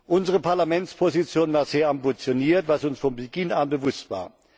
Unsere Parlamentsposition war sehr ambitioniert, was uns von Beginn an bewusst war.